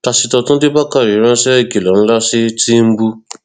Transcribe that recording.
pásítọ túnde bàkàrẹ ránṣẹ ìkìlọ ńlá sí tìǹbù